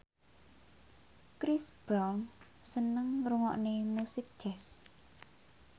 Chris Brown seneng ngrungokne musik jazz